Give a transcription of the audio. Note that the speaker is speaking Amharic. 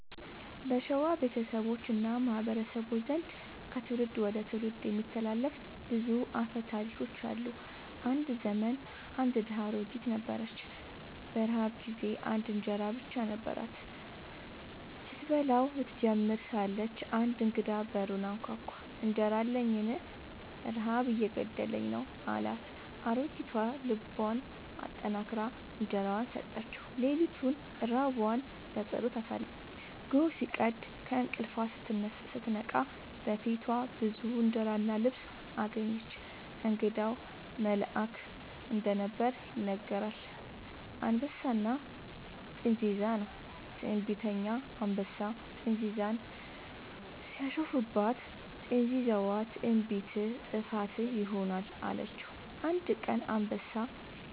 በሸዋ ቤተሰቦች እና ማህበረሰቦች ዘንድ ከትውልድ ወደ ትውልድ የሚተላለፉ ብዙ አፈ ታሪኮች አሉ። አንድ ዘመን አንድ ድሃ አሮጊት ነበረች። በረሃብ ጊዜ አንድ እንጀራ ብቻ ነበራት። ስትበላው ልትጀምር ሳለች አንድ እንግዳ በሩን አንኳኳ፤ «እንጀራ አለኝን? ረሃብ እየገደለኝ ነው» አላት። አሮጊቷ ልቧን አጠንክራ እንጀራዋን ሰጠችው። ሌሊቱን ራቧን በጸሎት አሳለፈች። ጎህ ሲቀድ ከእንቅልፏ ስትነቃ በፊቷ ብዙ እንጀራ እና ልብስ አገኘች። እንግዳው መልአክ እንደነበር ይነገራል። «አንበሳና ጥንዚዛ» ነው። ትዕቢተኛ አንበሳ ጥንዚዛን ሲያሾፍባት፣ ጥንዚዛዋ «ትዕቢትህ ጥፋትህ ይሆናል» አለችው። አንድ ቀን አንበሳ